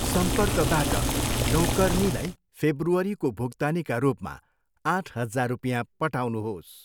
सम्पर्कबाट नौकरनीलाई फेब्रुअरीको भुक्तानीका रूपमा आठ हजार रुपियाँ पठाउनुहोस्।